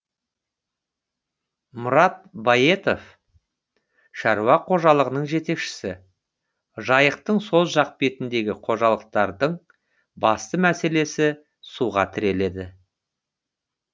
мұрат баетов шаруа қожалығының жетекшісі жайықтың сол жақ бетіндегі қожалықтардың басты мәселесі суға тіреледі